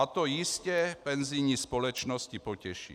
A to jistě penzijní společnosti potěší.